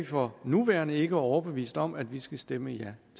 for nuværende ikke overbevist om at vi skal stemme ja